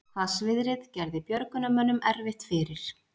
Hvassviðrið gerði björgunarmönnum erfitt fyrir